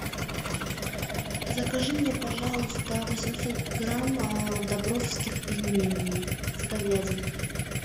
закажи мне пожалуйста восемьсот грамм добровских пельменей с говядиной